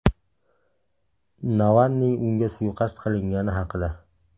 Navalniy unga suiqasd qilingani haqida.